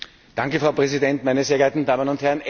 Frau Präsidentin, meine sehr geehrte Damen und Herren!